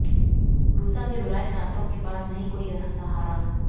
रूसा के रुलाए छात्रों के पास नहीं कोई सहारा